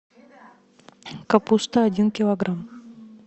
капуста один килограмм